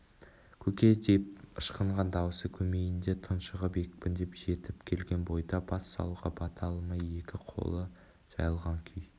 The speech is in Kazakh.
көке деп ышқынған дауысы көмейінде тұншығып екпіндеп жетіп келген бойда бас салуға бата алмай екі қолы жайылған күй